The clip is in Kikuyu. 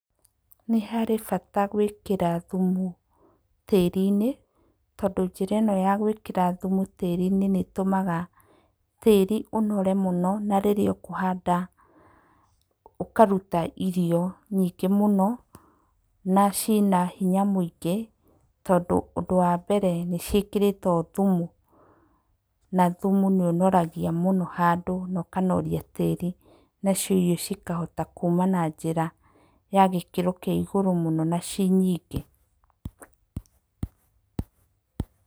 Nĩ harĩ bata gwĩkĩra thumu tĩĩri-inĩ tondũ njĩra ĩno ya gwĩkĩra thumu tĩĩri-inĩ nĩĩtũmaga tĩĩri ũnore mũno na rĩrĩa ũkũhanda ũkaruta irio nyingĩ mũno, na ciĩna hinya mũingĩ, tondũ ũndũ wa mbere nĩciĩkĩrĩtwo thumu, na thumu nĩũnoragia mũno handũ na ũkanoria tĩri. Nacio irio cikahota kuma na njĩra ya gĩkĩro kĩa igũrũ mũno na ciĩ nyingĩ.